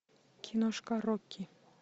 киношка рокки